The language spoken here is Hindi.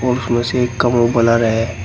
और उसमें से एक का मुंह ब्लर है।